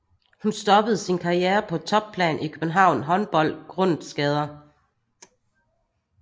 Hun stoppede sin karriere på topplan i København Håndbold grundet skader